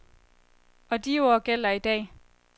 Og de ord gælder i dag.